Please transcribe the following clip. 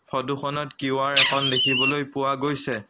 ফটোখনত কিউ_আৰ এখন দেখিবলৈ পোৱা গৈছে।